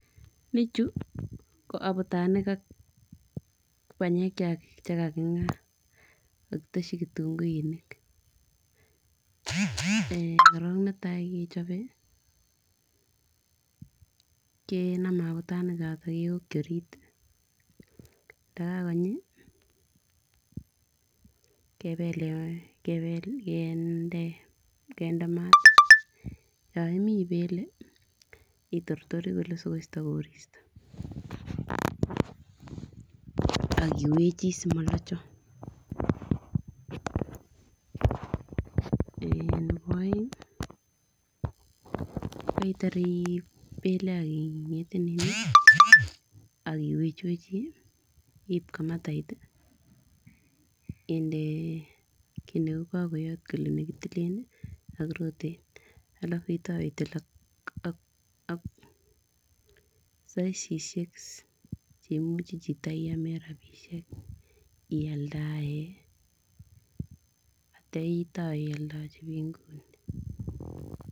Nichuu ko abutanik ak panyek chekakinga kokiteshi kitumguinik eeh korong netai kechobe kenome abutanik ak keyoi orit ndakakonyi kebel kebel keende kende maat yon imii ibele ketortori kole sikoisto koristo ak iwechii simolocho eeh nebo oeng kii yekaitar ibele ak ingete nn ak iwechwechii iib kamataiti indeed kit neu bokoyot kole nekitilen nii ak rotwet alafu itou itil ak ak ak sosishek cheimuchi chito iamen rabishek ialdae ak ityo itou ioldechi bik nguni.